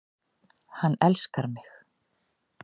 Hann elskar mig